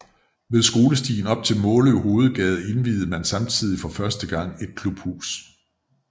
Ved skolestien op til Måløv Hovedgade indviede man samtidig for første gang et klubhus